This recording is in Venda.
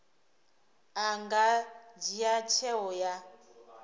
a nga dzhia tsheo ya